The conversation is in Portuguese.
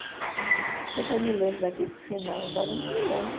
Pode ser que eu me lembre daqui para o final, agora eu não me lembro.